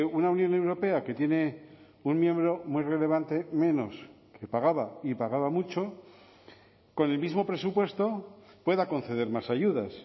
una unión europea que tiene un miembro muy relevante menos que pagaba y pagaba mucho con el mismo presupuesto pueda conceder más ayudas